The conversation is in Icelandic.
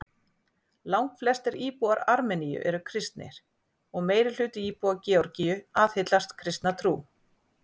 langflestir íbúar armeníu eru kristnir og meirihluti íbúa georgíu aðhyllist kristna trú